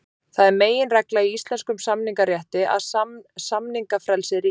Það er meginregla í íslenskum samningarétti að samningafrelsi ríkir.